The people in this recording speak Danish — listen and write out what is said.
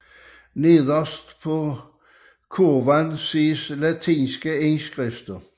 Nederst på kurven ses latinske indskrifter